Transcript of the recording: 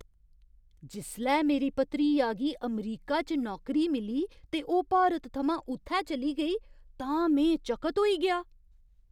जिसलै मेरी भतरीआ गी अमरीका च नौकरी मिली ते ओह् भारत थमां उत्थै चली गेई तां में चकत होई गेआ।